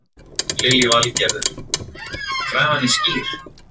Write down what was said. Lillý Valgerður: Krafan er skýr?